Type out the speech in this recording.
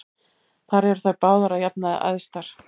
Þar eru þær báðar að jafnaði æðstar.